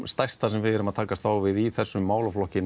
stærsta sem við erum að takast á við í þessum málaflokki